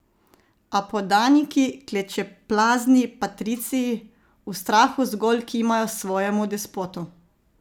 A podaniki, klečeplazni patriciji, v strahu zgolj kimajo svojemu despotu.